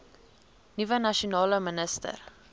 nuwe nasionale minister